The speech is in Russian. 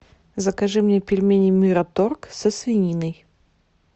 закажи мне пельмени мираторг со свининой